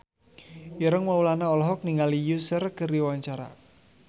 Ireng Maulana olohok ningali Usher keur diwawancara